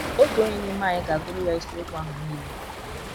Otu onye n’ime anyị ga - agụrụ ya isiokwu ahụ nile.